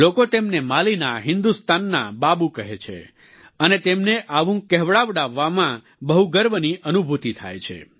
લોકો તેમને માલીના હિન્દુસ્તાનના બાબૂ કહે છે અને તેમને આવું કહેવડાવવામાં બહુ ગર્વની અનુભૂતિ થાય છે